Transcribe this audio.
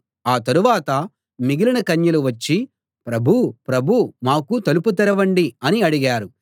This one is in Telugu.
ఆ తరువాత మిగిలిన కన్యలు వచ్చి ప్రభూ ప్రభూ మాకు తలుపు తెరవండి అని అడిగారు